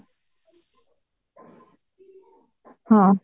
ହଁ